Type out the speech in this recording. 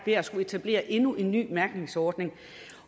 er at skulle etablere endnu en ny mærkningsordning